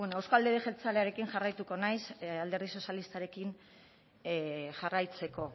bueno euzko alderdi jeltzalearekin jarraituko naiz alderdi sozialistarekin jarraitzeko